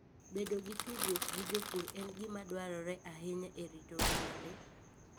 Bedo gi tudruok gi jopur en gima dwarore ahinya e rito ngima le.